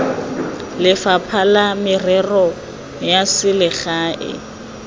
lefapha la merero ya selegae